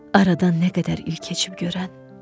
Aradan nə qədər il keçib görən?